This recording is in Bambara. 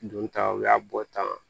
Don ta o y'a bɔ tan